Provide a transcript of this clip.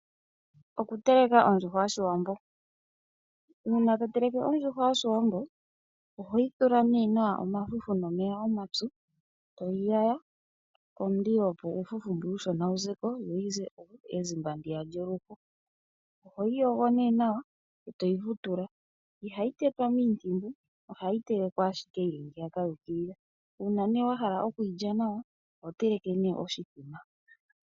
Okuteleka ondjuhwa yoshiwambo uuna to teleke ondjuhwa yoshiwambo ohoyi thula nee nawa omafufu nomeya omapyu toyi yaya pomulilo, opo uufufu mbwiya uushona wu ze ko noyi ze ezimba ndiya lyoluho. Ohoyi yogo nee nawa etoyi vutula. Ihayi tetwa miintimbu ohayi telekwa ashike yili ngaaka yuukilila, uuna nee wahala okuyilya nawa oho teleke oshimbombo.